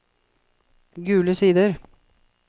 Gule Sider